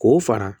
K'o fara